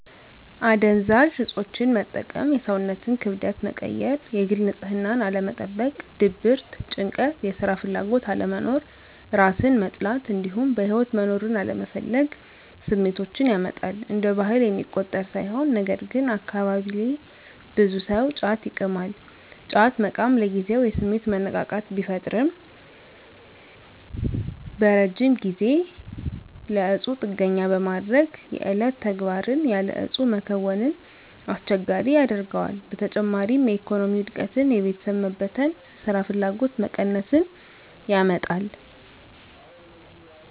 አደንዛዥ እፆችን መጠቀም የሰውነትን ክብደት መቀየር፣ የግል ንፅህናን አለመጠበቅ፣ ድብርት፣ ጭንቀት፣ የስራ ፍላጎት አለመኖር፣ እራስን መጥላት እንዲሁም በህይወት መኖርን አለመፈለግ ስሜቶችን ያመጣል። እንደ ባህል የሚቆጠር ሳይሆን ነገርግን አካባቢየ ብዙ ሰው ጫት ይቅማል። ጫት መቃም ለጊዜው የስሜት መነቃቃት ቢፈጥርም በረጅም ጊዜ ለእፁ ጥገኛ በማድረግ የዕለት ተግባርን ያለ እፁ መከወንን አስቸጋሪ ያደርገዋል። በተጨማሪም የኢኮኖሚ ውድቀትን፣ የቤተሰብ መበተን፣ ስራፍላጎት መቀነስን ያመጣል።